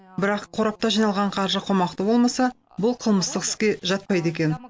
бірақ қорапта жиналған қаржы қомақты болмаса бұл қылмыстық іске жатпайды екен